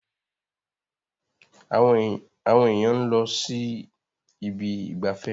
Àwọn èèyàn ló ń sí Ibi ìgbafẹ́.